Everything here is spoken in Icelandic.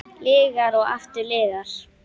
Lygar og aftur lygar.